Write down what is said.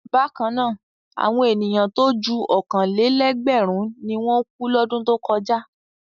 Bákan náà, àwọn ènìyàn tó ju ọ̀kan-lé-ẹgbẹ̀rún ni wọ́n kú lọ́dún tó kọ̀já.